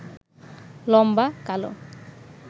লম্বা, কালো